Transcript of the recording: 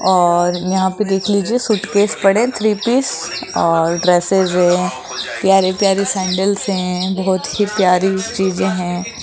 और यहां पे देख लिजिए सूटकेस पडे हैं थ्री पीस और वैसे ज प्यारी प्यारी सॅंडल्स हैं बहोत ही प्यारी चीजे हैं।